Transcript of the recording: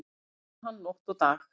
Nú vann hann nótt og dag.